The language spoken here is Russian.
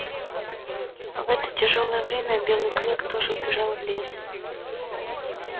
в это тяжёлое время белый клык тоже убежал в лес